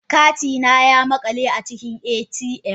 Kati na ya makale a cikin ATM